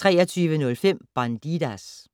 23:05: Bandidas